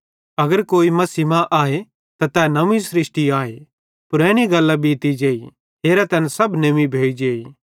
ते अगर कोई मसीह मां आए त तै नव्वीं स्रष्टी आए पुरैनी गल्लां बीती जेई हेरा तैना सब नेव्वीं भोइजेइ